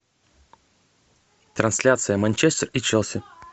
трансляция манчестер и челси